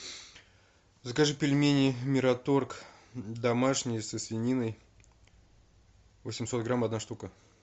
закажи пельмени мираторг домашние со свининой восемьсот грамм одна штука